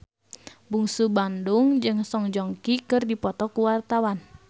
Bungsu Bandung jeung Song Joong Ki keur dipoto ku wartawan